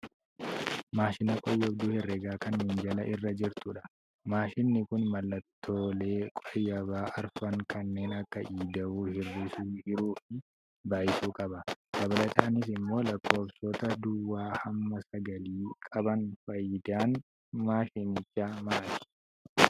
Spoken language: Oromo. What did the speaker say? Maashina qooyyabduu herregaa kan minjaala irra jirtudha. Maashinni kun mallattoee qooyyabaa arfan kanneen akka: ida'uu, hir'isuu, hiruu fi baay'isu qaba. Dabalataanis immoo lakkoofsota duwwaa hamma sagalii qaban. Faayidaan maashinichaa maali?